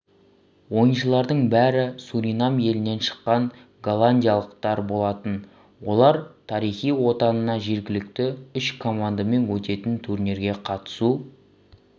ойыншылардың бәрі суринам елінен шыққан голландиялықтар болатын олар тарихи отанына жергілікті үш командамен өтетін турнирге қатысу